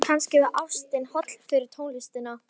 Kannski var ástin holl fyrir tónlistina.